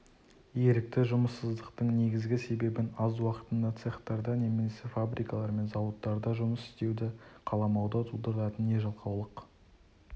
ерікті жұмыссыздықтың негізгі себебін аз уақытында цехтарда немесе фабрикалар мен зауаттарда жұмыс істеуді қаламауды тудыратын не жалқаулық